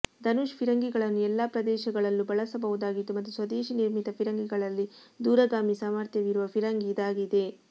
ಧನುಶ್ ಫಿರಂಗಿಗಳನ್ನು ಎಲ್ಲಾ ಪ್ರದೇಶಗಳಲ್ಲೂ ಬಳಸಬಹುದಾಗಿದ್ದು ಮತ್ತು ಸ್ವದೇಶಿ ನಿರ್ಮಿತ ಫಿರಂಗಿಗಳಲ್ಲಿ ದೂರಗಾಮಿ ಸಾಮರ್ಥ್ಯವಿರುವ ಫಿರಂಗಿ ಇದಾಗಿದೆ